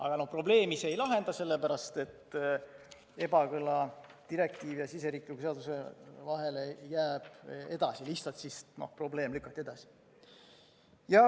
Aga probleemi see ei lahenda, sest ebakõla direktiivi ja siseriikliku seaduse vahel jääb edasi, lihtsalt probleemi lahendus lükati edasi.